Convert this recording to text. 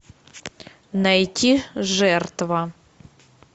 найти жертва